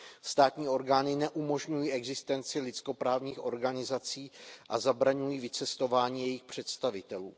Státní orgány neumožňují existenci lidskoprávních organizací a zabraňují vycestování jejich představitelů.